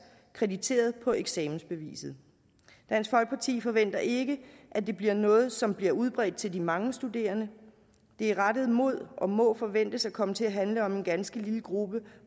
krediteret på eksamensbeviset dansk folkeparti forventer ikke at det bliver noget som bliver udbredt til de mange studerende det er rettet mod og må forventes at komme til at handle om en ganske lille gruppe